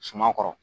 Suman kɔrɔ